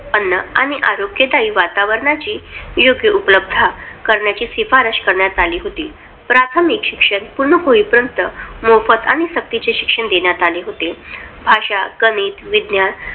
अन्न आणि आरोग्यदायी वातावरणाची योग्य उपलब्धता करण्याचीही शिफारस करण्यात आली होती. प्राथमिक शिक्षण पूर्ण होईपर्यंत मोफत आणि सक्तीचे शिक्षण देण्यात आले होते. भाषा, गणित, विज्ञान